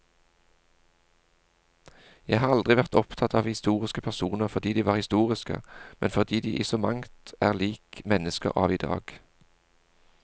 Jeg har aldri vært opptatt av historiske personer fordi de var historiske, men fordi de i så mangt er lik mennesker av i dag.